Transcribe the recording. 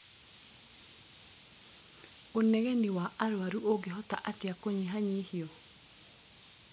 Ũnegeni wa arwaru ũngĩhota atĩa kũnyihanyihio?